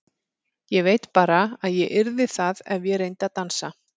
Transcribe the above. Ég veit bara að ég yrði það ef ég reyndi að dansa.